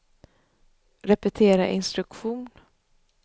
repetera instruktion